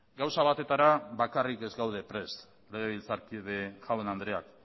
gauza batetara bakarrik ez gaude prest legebiltzarkide jaun andreak